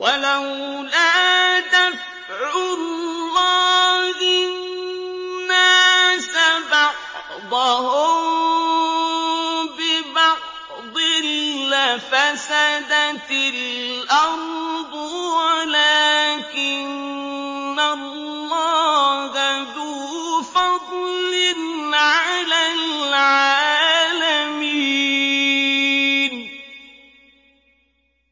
وَلَوْلَا دَفْعُ اللَّهِ النَّاسَ بَعْضَهُم بِبَعْضٍ لَّفَسَدَتِ الْأَرْضُ وَلَٰكِنَّ اللَّهَ ذُو فَضْلٍ عَلَى الْعَالَمِينَ